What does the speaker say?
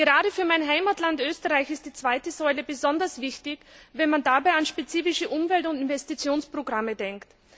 Gerade für mein Heimatland Österreich ist die zweite Säule besonders wichtig, wenn man dabei an spezifische Umwelt und Investitionsprogramme denkt.